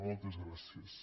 moltes gràcies